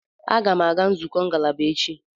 Aga a-aga nzukọ ngalaba echi.